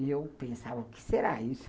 E eu pensava, o que será isso?